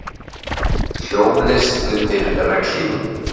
Hljómlist undir regnhlífum